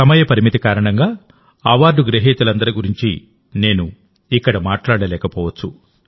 సమయ పరిమితి కారణంగాఅవార్డు గ్రహీతలందరి గురించి నేను ఇక్కడ మాట్లాడలేకపోవచ్చు